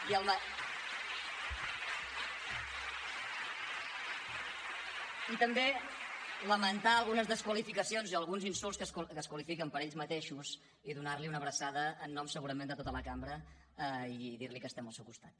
i també lamentar algunes desqualificacions i alguns insults que es qualifiquen per ells mateixos i donar li una abraçada en nom segurament de tota la cambra i dir li que estem al seu costat